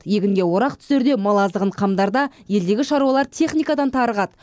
егінге орақ түсерде мал азығын қамдарда елдегі шаруалар техникадан тарығады